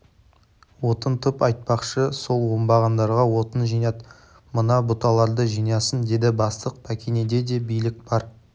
отын тп айтпақшы сол оңбағандарға отын жинат мына бұталарды жинасын деді бастық пәкенеде де билік бар